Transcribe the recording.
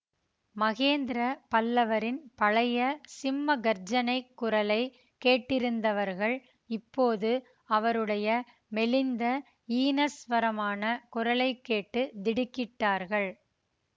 மகேந்திர பல்லவரின் பழைய சிம்ம கர்ஜனைக் குரலை கேட்டிருந்தவர்கள் இப்போது அவருடைய மெலிந்த ஈனஸ்வரமான குரலை கேட்டு திடுக்கிட்டார்கள்